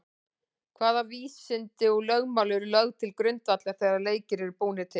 Hvaða vísindi og lögmál eru lögð til grundvallar þegar leikir eru búnir til?